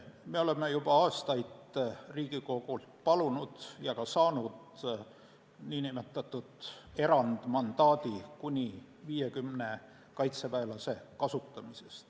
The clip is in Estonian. Me oleme juba aastaid Riigikogult palunud ja ka saanud nn erandmandaadi kuni 50 kaitseväelase kasutamiseks.